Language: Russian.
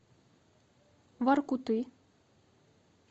воркуты